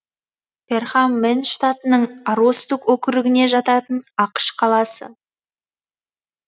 перхам мэн штатының аростук округіне жататын ақш қаласы